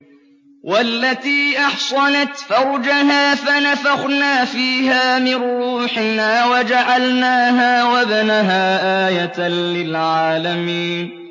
وَالَّتِي أَحْصَنَتْ فَرْجَهَا فَنَفَخْنَا فِيهَا مِن رُّوحِنَا وَجَعَلْنَاهَا وَابْنَهَا آيَةً لِّلْعَالَمِينَ